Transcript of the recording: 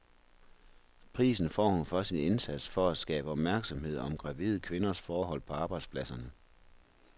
Prisen får hun for sin indsats for at skabe opmærksomhed om gravide kvinders forhold på arbejdspladserne.